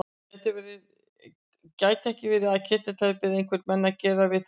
Gæti ekki verið að Ketill hefði beðið einhverja menn að gera við þær?